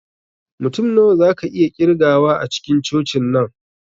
Mutum nawa zaka iya ƙirgawa a cikin cocin nan?